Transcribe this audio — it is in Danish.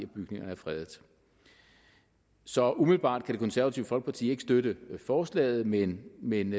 bygningerne er fredet så umiddelbart kan det konservative folkeparti ikke støtte forslaget men men